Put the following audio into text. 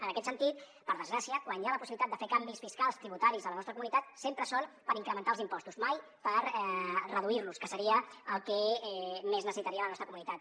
en aquest sentit per desgràcia quan hi ha la possibilitat de fer canvis fiscals tributaris a la nostra comunitat sempre són per incrementar els impostos mai per reduir los que seria el que més necessitaria la nostra comunitat